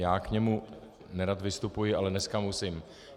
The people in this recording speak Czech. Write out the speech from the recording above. Já k němu nerad vystupuji, ale dneska musím.